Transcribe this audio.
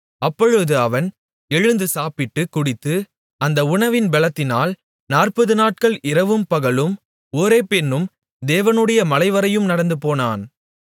அப்பொழுது அவன் எழுந்து சாப்பிட்டுக் குடித்து அந்த உணவின் பெலத்தினால் 40 நாட்கள் இரவும் பகலும் ஓரேப் என்னும் தேவனுடைய மலைவரையும் நடந்துபோனான்